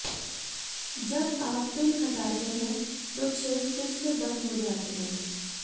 जब आप पिन हटाते हैं तो छेद फिर से बंद हो जाते हैं